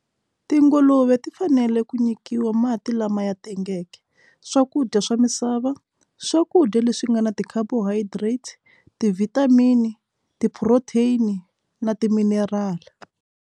Tinguluve ti fanele ku nyikiwa mati lama ya tengeke swakudya swa misava swakudya leswi nga na ti-carbohydrate, ti-vitamin, ti-protein na ti-mineral.